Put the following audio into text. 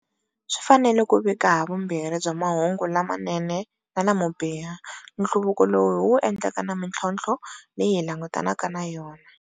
Swi fanele ku vika havumbirhi bya mahungu lamanene na lamo biha, nhluvuko lowu hi wu endleke na mitlhontlho leyi hi langutanaka na yona.